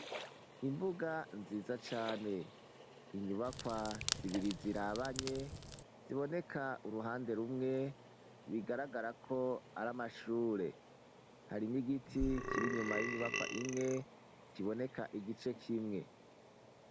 Imbuga nziza cane. Inyubakwa zibiri zirabanye ziboneka uruhande rumwe bigaragara ko ari amashure. Hari n'igiti kir'inyuma y'inyubakwa imwe kiboneka igice k'imwe.